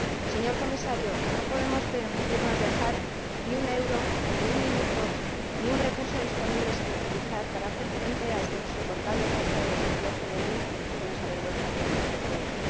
Señor Comisario, no podemos permitirnos dejar ni un euro, ni un minuto, ni un recurso disponible sin utilizar para hacer frente a esta insoportable tasa de desempleo juvenil que nos avergüenza a todos los europeos.